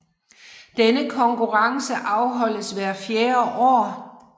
Denne konkurrence holdes hvert fjerde år